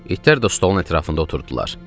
İtlər də stolun ətrafında oturdular.